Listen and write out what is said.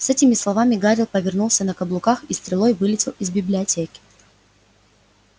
с этими словами гарри повернулся на каблуках и стрелой вылетел из библиотеки